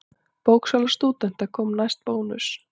Bóksala stúdenta komst næst Bónus.